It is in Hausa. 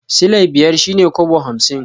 Silai biyar shi ne kobo hamsin.